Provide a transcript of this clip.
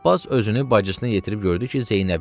Abbas özünü bacısına yetirib gördü ki,